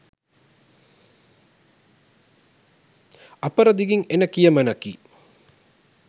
අපරදිගින් එන කියමනකි.